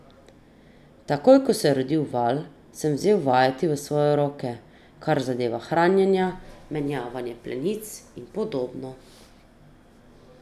Takoj ko se je rodil Val, sem vzel vajeti v svoje roke, kar zadeva hranjenje, menjavanje plenic in podobno.